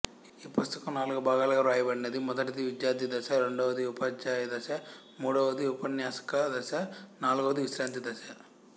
ఈ పుస్తకం నాలుగు భాగాలుగా వ్రాయబడినది మొదటిది విద్యార్థిదశ రెండవది ఉపాధ్యాయదశ మూడవది ఉపన్యాసకదశ నాలుగవది విశ్రాంతిదశ